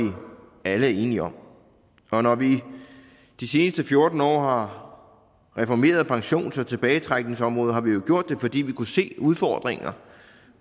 alle er enige om når vi i de seneste fjorten år har reformeret pensions og tilbagetrækningsområdet har vi jo gjort det fordi vi kunne se udfordringer